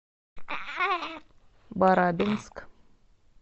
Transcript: барабинск